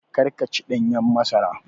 Kar ka ci ɗanyen masara